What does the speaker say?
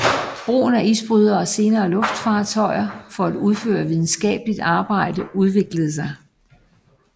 Brugen af isbrydere og senere luftfartøjer for at udføre videnskabeligt arbejde udviklede sig